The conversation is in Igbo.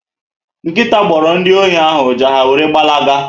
Nkịta gboro ndị ohi ahụ ụja, ha wéré gbara ga